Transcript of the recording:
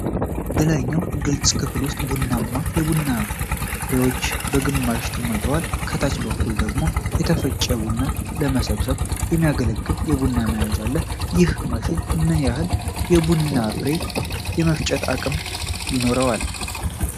በላይኛው ግልጽ ክፍል ውስጥ ቡናማ የቡና ፍሬዎች በግማሽ ተሞልተዋል፤ ከታች በኩል ደግሞ የተፈጨ ቡና ለመሰብሰብ የሚያገለግል የብር መያዣ አለ። ይህ ማሽን ምን ያህል የቡና ፍሬ የመፍጨት አቅም ይኖረዋል?